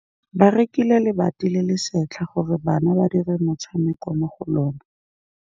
Ba rekile lebati le le setlha gore bana ba dire motshameko mo go lona.